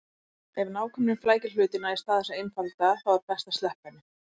Ef nákvæmnin flækir hlutina í stað þess að einfalda þá er best að sleppa henni.